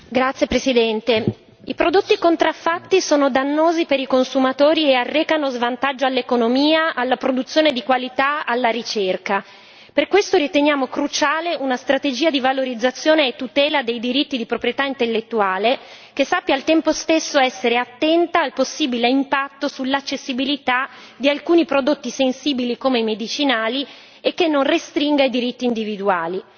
Signor Presidente, onorevoli colleghi, i prodotti contraffatti sono dannosi per i consumatori e arrecano svantaggio all'economia, alla produzione di qualità, alla ricerca. Per questo riteniamo cruciale una strategia di valorizzazione e tutela dei diritti di proprietà intellettuale che sappia al tempo stesso essere attenta al possibile impatto sull'accessibilità di alcuni prodotti sensibili come i medicinali e che non restringa i diritti individuali.